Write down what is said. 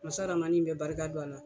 Masa ramani in bɛ barika don a la.